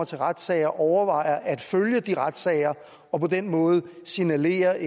til retssager overvejede at følge de retssager og på den måde signalerede